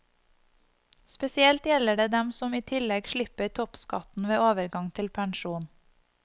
Spesielt gjelder det dem som i tillegg slipper toppskatten ved overgang til pensjon.